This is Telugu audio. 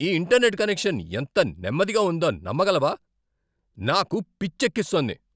ఈ ఇంటర్నెట్ కనెక్షన్ ఎంత నెమ్మదిగా ఉందో నమ్మగలవా? నాకు పిచ్చెక్కిస్తోంది!